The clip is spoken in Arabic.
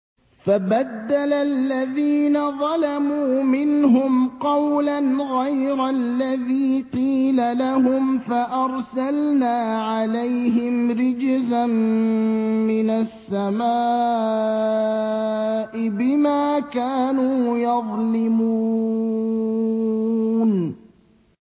فَبَدَّلَ الَّذِينَ ظَلَمُوا مِنْهُمْ قَوْلًا غَيْرَ الَّذِي قِيلَ لَهُمْ فَأَرْسَلْنَا عَلَيْهِمْ رِجْزًا مِّنَ السَّمَاءِ بِمَا كَانُوا يَظْلِمُونَ